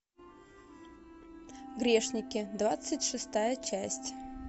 грешники двадцать шестая часть